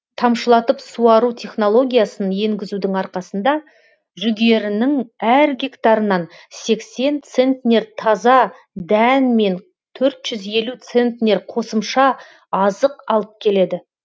тамшылатып суару технологиясын енгізудің арқасында жүгерінің әр гектарынан сексен центнер таза дән мен төрт жүз елу центнер қосымша азық алып келеді